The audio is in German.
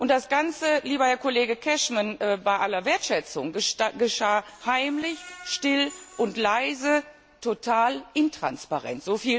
Das Ganze lieber Herr Kollege Cashman, bei aller Wertschätzung geschah heimlich, still und leise, total intransparent.